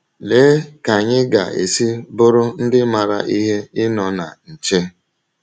Lee ka anyị ga - esi bụrụ ndị maara ihe ịnọ na nche!